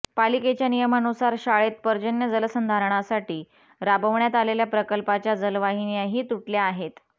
पालिकेच्या नियमानुसार शाळेत पर्जन्य जलसंधारणासाठी राबवण्यात आलेल्या प्रकल्पाच्या जलवाहिन्याही तुटल्या आहेत